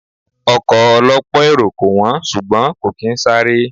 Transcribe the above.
Ọkọ̀ ọ lọ́pọ̀ èrò kò wón, ṣùgbọ́n kò kín sáré.